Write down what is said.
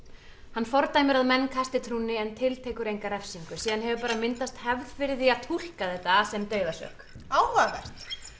hann fordæmir að menn kasti trúnni en tiltekur enga refsingu síðan hefur myndast hefð fyrir því að túlka þetta sem dauðasök áhugavert